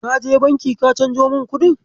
Kaje Banki ka canjo min kuɗin?